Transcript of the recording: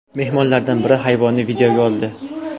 Mehmonlardan biri hayvonni videoga oldi.